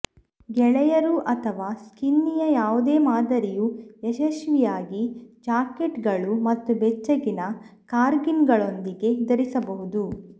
ಗೆಳೆಯರು ಅಥವಾ ಸ್ಕಿನ್ನಿಯ ಯಾವುದೇ ಮಾದರಿಯು ಯಶಸ್ವಿಯಾಗಿ ಜಾಕೆಟ್ಗಳು ಮತ್ತು ಬೆಚ್ಚಗಿನ ಕಾರ್ಡಿಗನ್ಗಳೊಂದಿಗೆ ಧರಿಸಬಹುದು